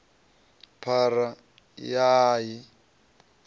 phara ya a a i